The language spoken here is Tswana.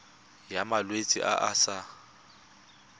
ya malwetse a a sa